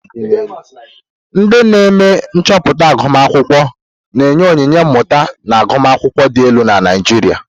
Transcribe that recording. Ndị na-eme nchọpụta agụmakwụkwọ na-enye onyinye mmụta na agụmakwụkwọ dị elu na Naijiria.